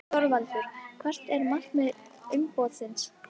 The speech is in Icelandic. ÞORVALDUR: Hvert er markmið umboðsins?